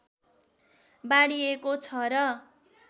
बाँडिएको छ र